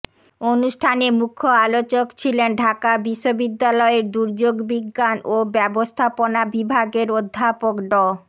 অনুষ্ঠানে মুখ্য আলোচক ছিলেন ঢাকা বিশ্ববিদ্যালয়ের দুর্যোগ বিজ্ঞান ও ব্যবস্থাপনা বিভাগের অধ্যাপক ড